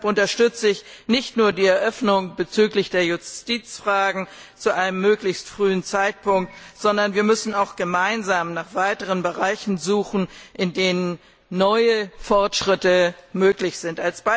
Deshalb unterstütze ich nicht nur die Eröffnung der Verhandlungen bezüglich der Justizfragen zu einem möglichst frühen Zeitpunkt, sondern wir müssen auch gemeinsam nach weiteren Bereichen suchen, in denen neue Fortschritte möglich sind.